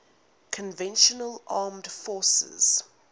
conventional armed forces